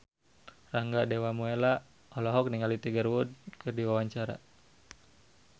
Rangga Dewamoela olohok ningali Tiger Wood keur diwawancara